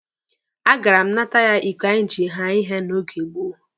A gara m nata ya iko anyị ji haa ihe n'oge gboo.